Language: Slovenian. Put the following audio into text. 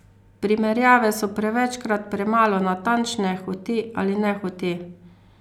Primerjave so prevečkrat premalo natančne, hote ali nehote.